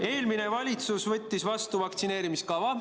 Eelmine valitsus võttis vastu vaktsineerimiskava.